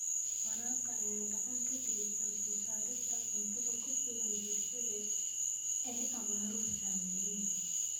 Waraabka ayaa gacan ka geysta soo saarista cunto ku filan bulshada ay abaaruhu saameeyeen.